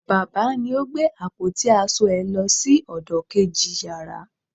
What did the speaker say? baba ni o gbe apoti asọ è lo sí ọdọ keji yara